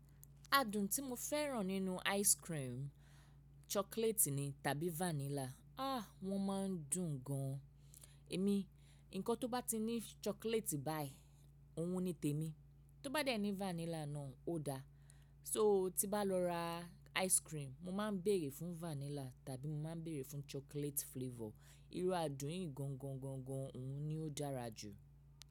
Adùn tí mo fẹ́ràn nínú ice cream chocolate ni tàbí vanilla. Ah! Wọ́n máa ń dùn gan. Èmi, nǹkan tó bá ti ní chocolate báyìí, òun ni tèmi. Tó bá de ni vanilla náà ó dáa. So tí n bá lọ ra ice cream, mo máa ń bèrè fún vanilla tàbí mo máa ń bèrè fún chocolate flavor. Irú adùn yìí gańgańgańgan òun ni ó dára jù.